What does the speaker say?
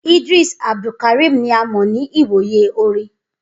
Idris Abdulkarim ni a mọ ni iwoye orin.